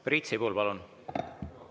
Priit Sibul, palun!